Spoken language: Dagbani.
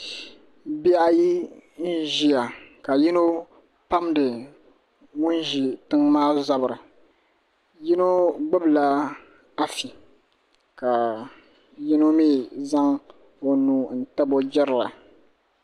Bihi ayi n ʒiya ka yino pamdi ŋun ʒi tiŋ maa zabiri yino gbubila afi ka yino mii zaŋ o nuu n tabi o jirili